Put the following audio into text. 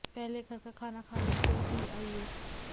पहले घर पर खाना खा लीजिए और फिर आइए